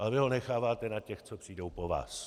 Ale vy ho necháváte na těch, co přijdou po vás.